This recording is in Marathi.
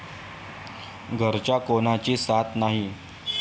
घरच्या कोणाची साथ नाही.